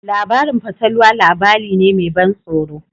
Labarin fatalwa labari ne me ban tsoro.